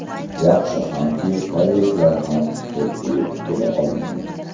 Yaxshi hamki, koreyslar ham to‘pga yetib kela olmadi.